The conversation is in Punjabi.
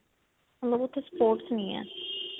ਮਤਲਬ ਉੱਥੇ sports ਨਹੀਂ ਹੈ.